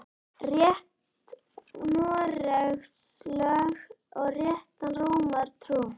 Rétt Noregs lög og rétta Rómar trú